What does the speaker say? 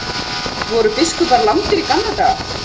Voru biskupar lamdir í gamla daga?